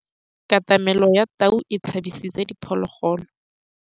Katamêlô ya tau e tshabisitse diphôlôgôlô.